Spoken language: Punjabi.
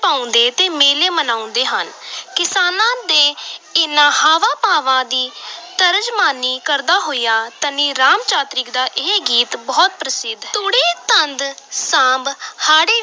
ਪਾਉਂਦੇ ਤੇ ਮੇਲੇ ਮਨਾਉਂਦੇ ਹਨ ਕਿਸਾਨਾਂ ਦੇ ਇਨ੍ਹਾਂ ਹਾਵਾਂ-ਭਾਵਾਂ ਦੀ ਤਰਜਮਾਨੀ ਕਰਦਾ ਹੋਇਆ ਧਨੀ ਰਾਮ ਚਾਤ੍ਰਿਕ ਦਾ ਇਹ ਗੀਤ ਬਹੁਤ ਪ੍ਰਸਿੱਧ ਹੈ, ਤੂੜੀ ਤੰਦ ਸਾਂਭ ਹਾੜੀ